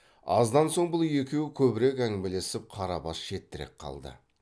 аздан соң бұл екеуі көбірек әңгімелесіп қарабас шетірек қалды